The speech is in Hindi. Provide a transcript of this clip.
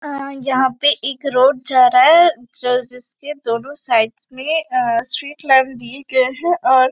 यहाँ पे एक रोड जा रहा है जो जिसके दोनों साइड्स में अ स्ट्रीट लाइन दिये गये है और--